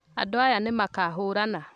Andũaya nĩmakaahũrana